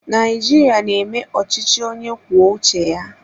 Naijiria na-eme ọchịchị onye kwuo uche ya.